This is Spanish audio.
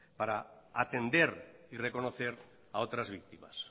para atender y reconocer a otras víctimas